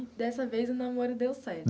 Dessa vez, o namoro deu certo.